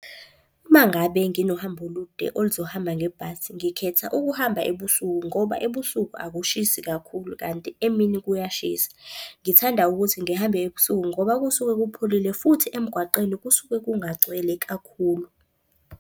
Uma ngabe nginohambo olude oluzohamba ngebhasi, ngikhetha ukuhamba ebusuku. Ngoba ebusuku akushisi kakhulu kanti emini kuyashisa. Ngithanda ukuthi ngihambe ebusuku ngoba kusuke kupholile futhi emgwaqeni kusuke kungagcwele kakhulu.